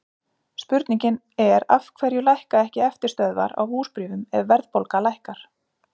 Spurningin er af hverju lækka ekki eftirstöðvar á húsbréfum ef verðbólga lækkar?